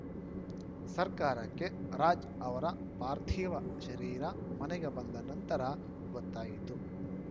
ಸರ್ಕಾರಕ್ಕೆ ರಾಜ್‌ ಅವರ ಪಾರ್ಥಿವ ಶರೀರ ಮನೆಗೆ ಬಂದ ನಂತರ ಗೊತ್ತಾಯಿತು